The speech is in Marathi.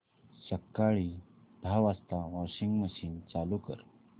सकाळी दहा वाजता वॉशिंग मशीन चालू कर